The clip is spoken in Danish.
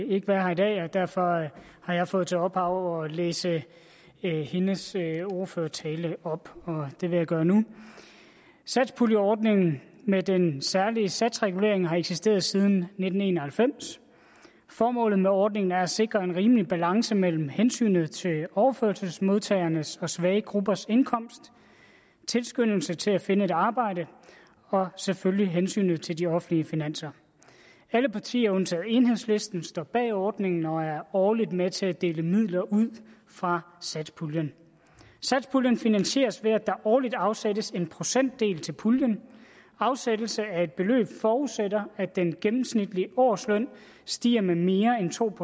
ikke være her i dag og derfor har jeg fået til opdrag at læse hendes ordførertale op og det vil jeg gøre nu satspuljeordningen med den særlige satsregulering har eksisteret siden nitten en og halvfems formålet med ordningen er at sikre en rimelig balance mellem hensynet til overførselsmodtagernes og svage gruppers indkomst tilskyndelse til at finde et arbejde og selvfølgelig hensynet til de offentlige finanser alle partier undtagen enhedslisten står bag ordningen og er årligt med til at dele midler ud fra satspuljen satspuljen finansieres ved at der årligt afsættes en procentdel til puljen afsættelse af et beløb forudsætter at den gennemsnitlige årsløn stiger med mere end to